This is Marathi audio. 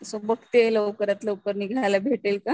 सो बघते लवकरात लवकर निघायला भेटेल का.